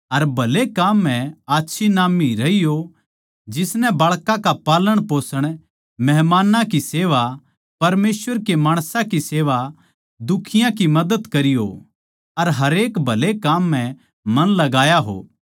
अर भले काम म्ह आच्छी नाम्मी रही हो जिसनै बाळकां का पालनपोषण मेहमानां की सेवा परमेसवर के माणसां की सेवा दुखियाँ की मदद करी हो अर हरेक भले काम म्ह मन लगाया हो